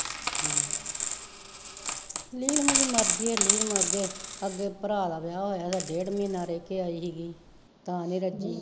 ਨਈਂ ਏਨਾ ਦੀ ਮਰਜੀ ਆ ਨੀਲਮ ਅੱਗੇ, ਅੱਗੇ ਭਰਾ ਦਾ ਵਿਆਹ ਹੋਇਆ ਏਦਾ ਡੇਡ ਮਹੀਨਾ ਰਹਿ ਕੇ ਆਈ ਹੀ ਗੀ ਤਾਂ ਨੀ ਰੱਜੀ